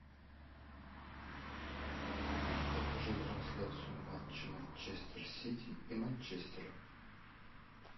покажи трансляцию матча манчестер сити и манчестера